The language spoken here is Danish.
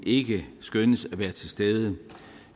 ikke skønnes at være til stede